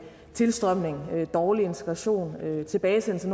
tilstrømningen dårlig integration og tilbagesendelse